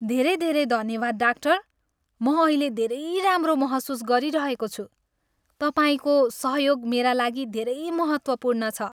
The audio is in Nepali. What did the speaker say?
धेरै धेरै धन्यवाद, डाक्टर! म अहिले धेरै राम्रो महसुस गरिरहेको छु। तपाईँको सहयोग मेरा लागि धेरै महत्त्वपूर्ण छ।